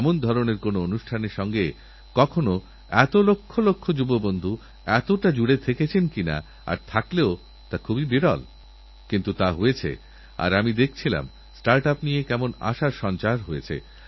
আমি কৃষক ভাইদেরবারবার বলি আমাদের খেতের ধারে যে আল দিয়ে জমি নষ্ট করি তার পরিবর্তে কেন আমরা বড়লম্বা গাছের চারা লাগাই না বর্তমানে ভারতবর্ষে ঘর বানানোর জন্য আসবাবপত্রবানানোর জন্য কোটি কোটি টাকার কাঠের গুঁড়ি বিদেশ থেকে আমদানী করতে হয়